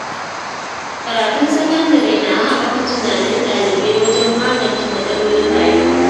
Karatun sakandare na haɓaka tunanin ɗalibai wajen magance matsalolin rayuwa.